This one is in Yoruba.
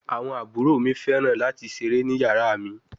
Awọn abhor mi fẹran lati sere ni yara mi